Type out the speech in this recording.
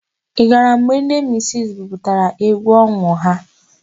Ị gara mgbe ndị misisi buputara égwú ọhụụ ha?